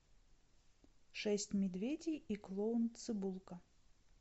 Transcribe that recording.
шесть медведей и клоун цибулка